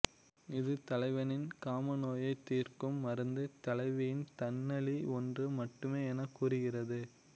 இது தலைவனின் காமநோயைத் தீர்க்கும் மருந்து தலைவியின் தண்ணளி ஒன்று மட்டுமே எனப் கூறுகிறது